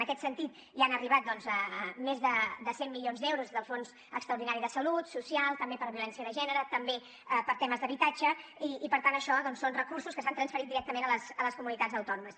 en aquest sentit ja han arribat doncs més de cent milions d’euros del fons extraordinari de salut social també per violència de gènere també per temes d’habitatge i per tant això són recursos que s’han transferit directament a les comunitats autònomes